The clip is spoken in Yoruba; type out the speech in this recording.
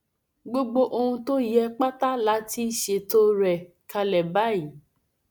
gbogbo ohun tó yẹ pátá la ti ṣètò rẹ kalẹ báyìí